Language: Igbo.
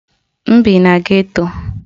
M bi na geto.